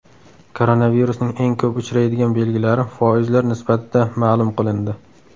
Koronavirusning eng ko‘p uchraydigan belgilari foizlar nisbatida ma’lum qilindi.